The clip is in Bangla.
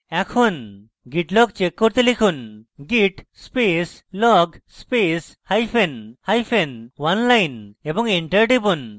এখন git log check করতে লিখুন: git space log space hyphen hyphen oneline এবং enter টিপুন